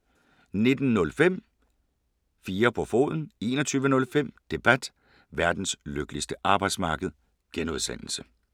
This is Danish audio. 19:05: 4 på foden 21:05: Debat: Verdens lykkeligste arbejdsmarked (G)